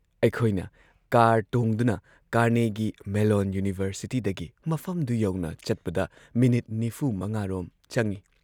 ꯑꯩꯈꯣꯏꯅ ꯀꯥꯔ ꯇꯣꯡꯗꯨꯅ ꯀꯥꯔꯅꯦꯒꯤ ꯃꯦꯜꯂꯣꯟ ꯌꯨꯅꯤꯚꯔꯁꯤꯇꯤꯗꯒꯤ ꯃꯐꯝꯗꯨ ꯌꯧꯅ ꯆꯠꯄꯗ ꯃꯤꯅꯤꯠ ꯴꯵ ꯔꯣꯝ ꯆꯪꯏ ꯫